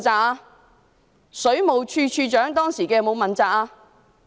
當時的水務署署長有否問責？